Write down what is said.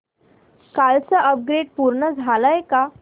कालचं अपग्रेड पूर्ण झालंय का